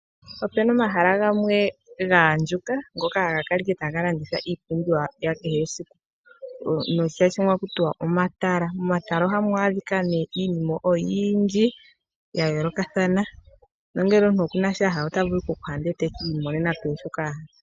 Opena omahala gamwe gaandjuka ngoka haga kala taga landithwa iipumbiwa yakehe esiku noshitya shimwe ohakutiwa omatala. Momatala ohamu adhika ne iinima oyindji yayoolokathana na ngele omuntu okuna sho ahala otavulu okuhadha eti imoneneko shoka ahala.